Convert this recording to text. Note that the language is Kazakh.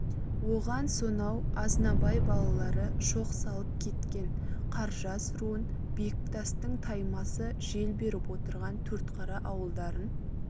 оған сонау азнабай балалары шоқ салып кеткен қаржас руын бектастың таймасы жел беріп отырған төртқара ауылдарын